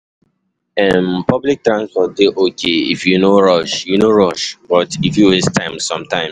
um Public transport dey okay if you no rush, you no rush, but e fit waste time sometimes.